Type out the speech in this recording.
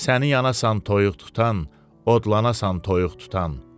Səni yanasasan toyuq tutan, odlanasan toyuq tutan.